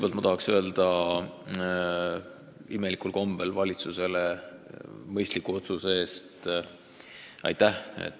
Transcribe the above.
Praegu aga tahan imelikul kombel kõigepealt öelda valitsusele aitäh mõistliku otsuse eest.